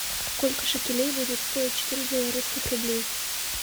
сколько шекелей будет стоить четыре белорусских рублей